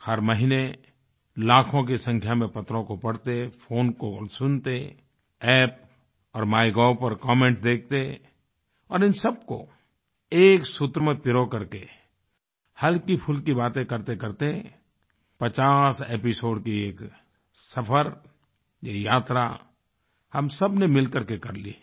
हर महीने लाखों की संख्या में पत्रों को पढ़तेफोन कॉल्स सुनते App और माइगोव पर कमेंट देखते और इन सबको एक सूत्र में पिरोकर के हल्कीफुल्की बातें करतेकरते 50 एपिसोड की एक सफ़र ये यात्रा हम सबने मिलकर के कर ली है